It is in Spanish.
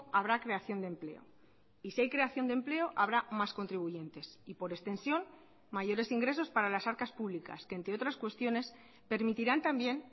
habrá creación de empleo y si hay creación de empleo habrá más contribuyentes y por extensión mayores ingresos para las arcas públicas que entre otras cuestiones permitirán también